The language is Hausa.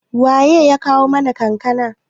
waye ya kawo mana kankana?